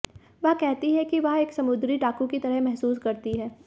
वह कहती है कि वह एक समुद्री डाकू की तरह महसूस करती है